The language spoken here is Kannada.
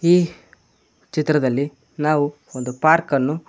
ಈ ಚಿತ್ರದಲ್ಲಿ ನಾವು ಒಂದು ಪಾರ್ಕ್ ಅನ್ನು--